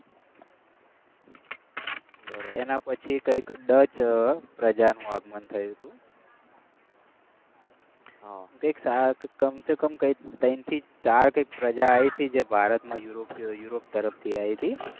એના પછી કંઈક ડચ પ્રજાનું આગમન થયું હતું કઈ કમ સે કમ કંઈક ત્રણ કે ચાર કંઈક પ્રજા હતી જે ભારતમાં યુરોપ તરફથી આવી હતી.